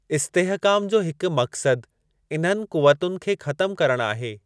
इस्तेहकाम जो हिक मक़्सदु इन्हनि क़ुवतुनि खे ख़तमु करणु आहे।